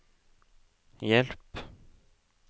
hjelp